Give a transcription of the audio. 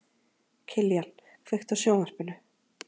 Kiljan, kveiktu á sjónvarpinu.